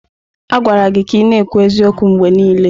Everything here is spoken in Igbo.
A gwara gị ka ị na-ekwu eziokwu mgbe niile!